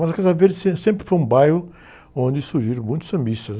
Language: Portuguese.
Mas a Casa Verde sempre, sempre foi um bairro onde surgiram muitos sambistas.